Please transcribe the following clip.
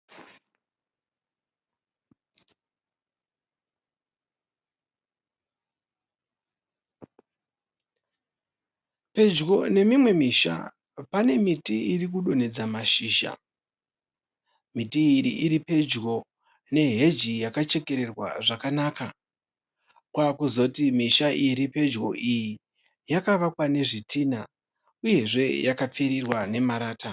Pedyo nemimwe misha panemiti iri kudonhedza mashizha. Miti iyi iri pedyo ne Hedge yakachekererwa zvakanaka. Kwakuzoti misha iyi iri pedyo yakavakwa nezvitinha uye yakapfirirwa namarata.